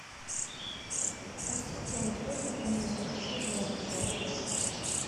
ассистент вызови мне такси в аэропорт